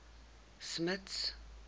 smuts